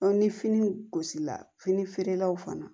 ni fini gosila fini feerelaw fana